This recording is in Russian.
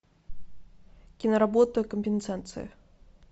киноработа компенсация